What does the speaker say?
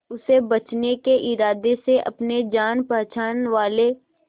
उसे बचने के इरादे से अपने जान पहचान वाले